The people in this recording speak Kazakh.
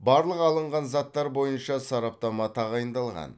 барлық алынған заттар бойынша сараптама тағайындалған